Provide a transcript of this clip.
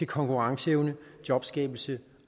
konkurrenceevne jobskabelse